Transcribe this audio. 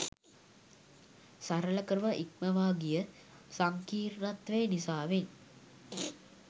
සරල කම ඉක්මවා ගිය සංකීර්ණත්වය නිසාවෙන්